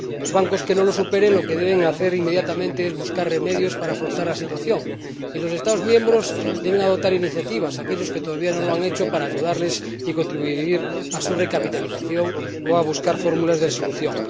Los bancos que no las superen, lo que deben hacer inmediatamente es buscar remedios para afrontar la situación, y los Estados miembros deben adoptar iniciativas aquellos que todavía no lo han hecho para ayudarles y contribuir a su recapitalización o a buscar fórmulas de resolución.